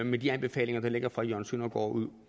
med de anbefalinger der ligger fra jørgen søndergaard